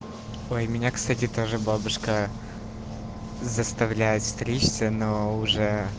ой меня кстати тоже бабушка заставляет стричься но уже